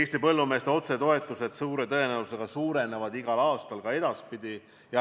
Eesti põllumeeste otsetoetused suure tõenäosusega suurenevad igal aastal ka edaspidi.